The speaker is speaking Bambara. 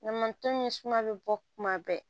Ɲama tɔmi suma bɛ bɔ kuma bɛɛ